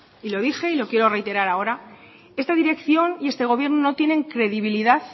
y lo dije y lo quiero a reiterar ahora esta dirección y este gobierno no tienen credibilidad